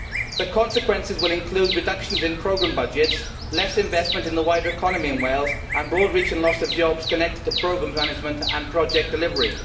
The consequences will include reductions in programme budgets, less investment in the wider economy in Wales, and broad reaching loss of jobs connected to programme management and project delivery.